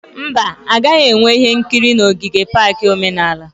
Mba, a gaghị enwe ihe nkiri na ogige pak omenala